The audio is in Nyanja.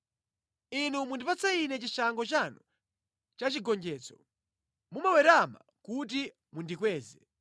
Inu mundipatsa ine chishango chanu cha chigonjetso; mumawerama kuti mundikweze.